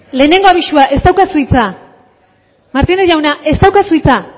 lehengo abisua ez daukazu hitza martínez jauna ez daukazu hitza